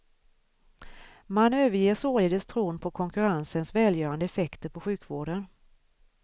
Man överger således tron på konkurrensens välgörande effekter på sjukvården.